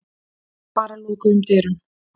Bara lokuðum dyrum.